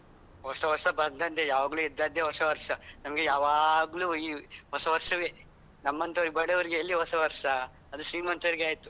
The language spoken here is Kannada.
ಹೊಸ ವರ್ಷ ಬಂದಂದೇ ಯಾವಾಗ್ಲೂ ಇದ್ದದ್ದೆ ಹೊಸ ವರ್ಷ ನಮ್ಗೆ ಯಾವಾಗ್ಲೂ ಈ ಹೊಸ ವರ್ಷವೇ ನಮ್ಮಂತ ಬಡವರಿಗೆ ಎಲ್ಲಿ ಹೊಸ ವರ್ಷ ಅದು ಶ್ರೀಮಂತರಿಗೆ ಆಯ್ತು.